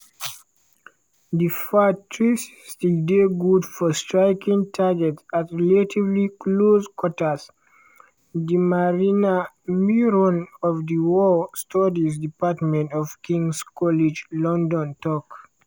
"di fath-360 dey good for striking targets at relatively close quarters" dr marina miron of di war studies department for king's college london tok.